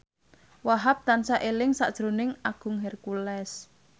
Wahhab tansah eling sakjroning Agung Hercules